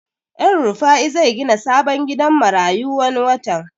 El rufai zai gina sabon gidan marayu wani watan